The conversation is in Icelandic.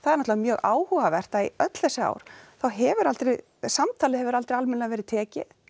náttúrulega mjög áhugavert að í öll þessi ár þá hefur aldrei samtalið hefur aldrei almennilega verið tekið